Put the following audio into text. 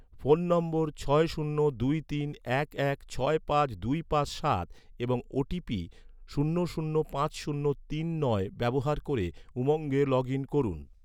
phone নম্বর ছয় শূন্য দুই তিন এক এক ছয় পাঁচ দুই পাঁচ সাত এবং ওটিপি শূন্য শূন্য পাঁচ শূন্য তিন নয় ব্যবহার ক’রে, উমঙ্গে লগ ইন করুন